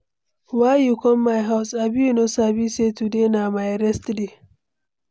Why you come my house? Abi you no sabi sey today na my rest day?